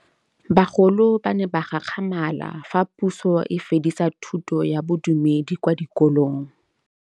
Bagolo ba ne ba gakgamala fa Pusô e fedisa thutô ya Bodumedi kwa dikolong.